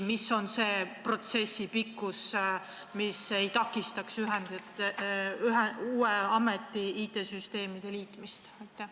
Mis on selle protsessi pikkus, et see ei takistaks uue ameti IT-süsteemide liitmist?